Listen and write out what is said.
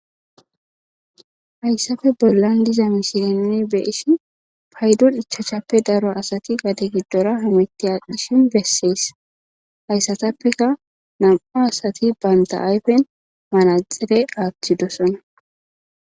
hayssafe bollan diza misilen beeshi paydon ichachappe daro asati gade giddora hametti aaqishin bessees hayssatappeka nam7u asati baynta ayfen manaxere aaththidosona